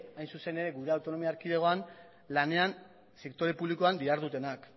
hain zuzen ere gure autonomia erkidegoak lanean sektore publikoan dihardutenak